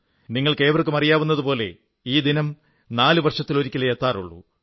നിങ്ങൾക്കേവർക്കും അറിയാവുന്നതുപോലെ ഈ ദിനം നാലു വർഷത്തിലൊരിക്കലേ എത്താറുള്ളൂ